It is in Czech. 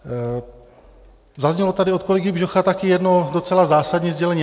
Zaznělo tady od kolegy Bžocha taky jedno docela zásadní sdělení.